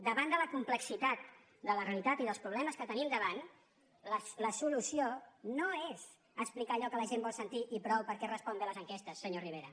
davant de la complexitat de la realitat i dels problemes que tenim davant la solució no és explicar allò que la gent vol sentir i prou perquè respon bé a les enquestes senyor rivera